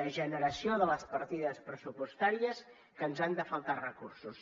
degeneració de les partides pressupostàries que ens han de faltar recursos